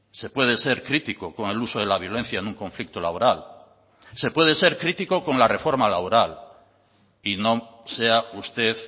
se puede ser crítico con el uso de la violencia en un conflicto laboral se puede ser crítico con la reforma laboral y no sea usted